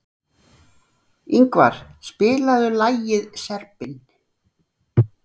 Yngvar, spilaðu lagið „Serbinn“.